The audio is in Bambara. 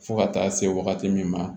Fo ka taa se wagati min ma